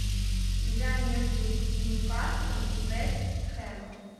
игра между ньюкаслом и вест хэмом